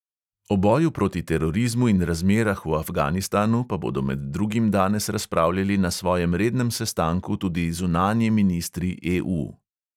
O boju proti terorizmu in razmerah v afganistanu pa bodo med drugim danes razpravljali na svojem rednem sestanku tudi zunanji ministri EU.